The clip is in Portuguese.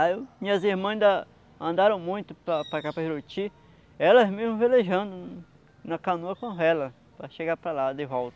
Aí minhas irmãs ainda andaram muito para para cá para Juruti, elas mesmo velejando na canoa com a vela, para chegar para lá de volta.